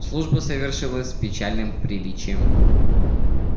служба совершилась печальным приличием